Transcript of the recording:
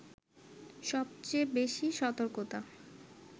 সবচেয়ে বেশি সতর্কতা